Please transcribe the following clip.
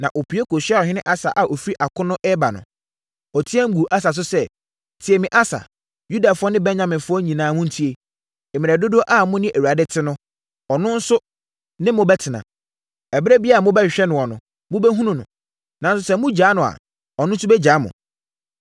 na ɔpue kɔhyiaa ɔhene Asa a ɔfiri akono reba no. Ɔteaam guu Asa so sɛ, “Tie me, Asa, Yudafoɔ ne Benyaminfoɔ nyinaa montie. Mmerɛ dodoɔ a mo ne Awurade te no, ɔno nso ne mo bɛtena. Ɛberɛ biara a mobɛhwehwɛ noɔ no, mobɛhunu no. Nanso sɛ mogya no a, ɔno nso bɛgya mo.